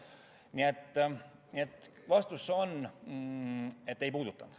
Nii et vastus on: ei puudutanud.